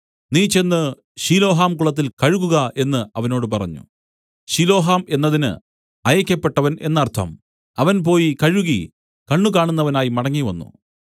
നീ ചെന്ന് ശിലോഹാം കുളത്തിൽ കഴുകുക എന്നു അവനോട് പറഞ്ഞു ശിലോഹാം എന്നതിന് അയയ്ക്കപ്പെട്ടവൻ എന്നർത്ഥം അവൻ പോയി കഴുകി കണ്ണ് കാണുന്നവനായി മടങ്ങിവന്നു